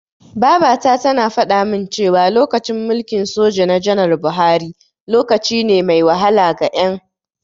Babata tana faɗamin cewa, lokacin mulkin soja na janar Buhari, lokaci ne mai wahala ga Ƴan.